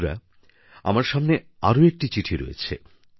বন্ধুরা আমার সামনে আরো একটি চিঠি রয়েছে